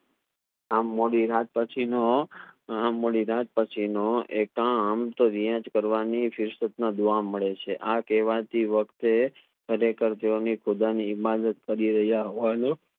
આ મોદી રાત પછી નો આ મોદી રાત પછી નો એક દુઆ મળે છે આ કહવા થી વકતે ખરેખર તેઓ ની ખુદા ની ઇબાદત કરી રહ્યા હોવાનો